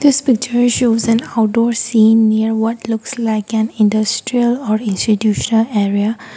this picture shows an outdoor scene near what looks like an industrial or institutional area.